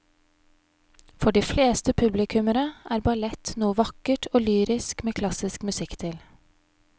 For de fleste publikummere er ballett noe vakkert og lyrisk med klassisk musikk til.